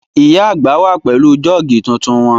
Ìyá àgbà wà pẹ̀lú jọ́ọ̀gì tuntun wọn